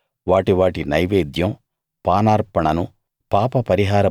వాటితో వాటి వాటి నైవేద్యం పానార్పణను